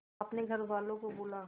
अपने घर वालों को बुला